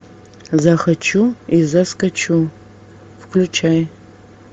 захочу и заскочу включай